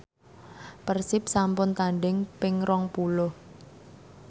Persib sampun tandhing ping rong puluh